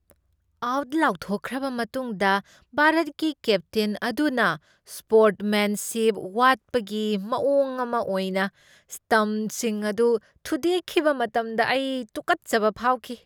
Out ꯂꯥꯎꯊꯣꯛꯈ꯭ꯔꯕ ꯃꯇꯨꯡꯗ ꯚꯥꯔꯠꯀꯤ ꯀꯦꯞꯇꯦꯟ ꯑꯗꯨꯅ, ꯁ꯭ꯄꯣꯔꯠꯃꯦꯟꯁꯤꯞ ꯋꯥꯠꯄꯒꯤ ꯃꯑꯣꯡ ꯑꯃ ꯑꯣꯏꯅ, ꯁ꯭ꯇꯝꯞꯁꯤꯡ ꯑꯗꯨ ꯊꯨꯗꯦꯛꯈꯤꯕ ꯃꯇꯝꯗ ꯑꯩ ꯇꯨꯀꯠꯆꯕ ꯐꯥꯎꯈꯤ꯫